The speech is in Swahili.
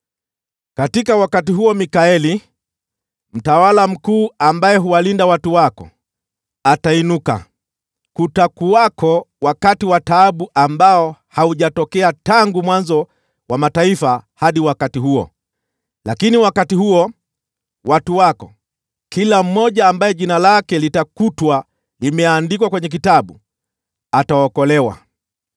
“Katika wakati huo Mikaeli, mtawala mkuu ambaye huwalinda watu wako, atainuka. Kutakuwako wakati wa taabu ambao haujatokea tangu mwanzo wa mataifa hadi wakati huo. Lakini wakati huo, watu wako, kila mmoja ambaye jina lake litakutwa limeandikwa kwenye kitabu, ataokolewa.